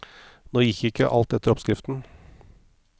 Nå gikk ikke alt etter oppskriften.